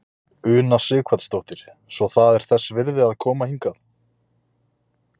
Una Sighvatsdóttir: Svo það er þess virði að koma hingað?